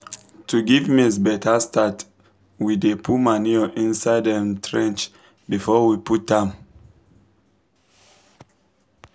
to give maize better start we dey put manure inside um trench before we plant um am.